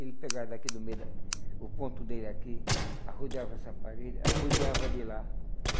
Ele pegava daqui do meio, da o ponto dele aqui, arrodeava essa parede, arrodeava de lá.